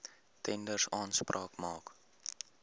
tenders aanspraak maak